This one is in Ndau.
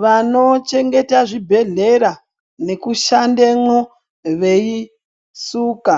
Vanochengete zvibhedhlera nekushandemwo veisuka